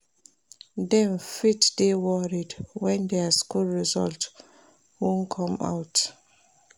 Dem fit dey worried when their school result won come out